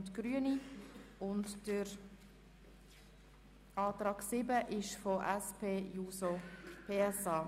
GEF wird beauftragt, neue Finanzierungsmodelle mit der Spitex für einen neuen LV zu verhandeln.